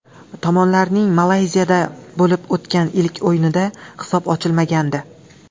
Tomonlarning Malayziyada bo‘lib o‘tgan ilk o‘yinida hisob ochilmagandi.